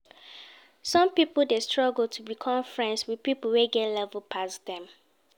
Some pipo de struggle to become friends with pipo wey get levels pass dem